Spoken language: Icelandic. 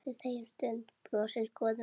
Brosir, góður með sig.